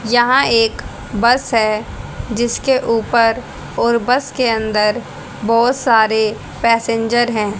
यहां एक बस है जिसके ऊपर और बस के अंदर बहोत सारे पैसेंजर हैं।